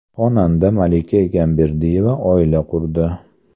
Xonanda Malika Egamberdiyeva oila qurdi.